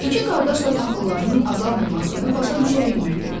İki qardaş da taxıllarının azalmamasıını başa düşə bilmirdi.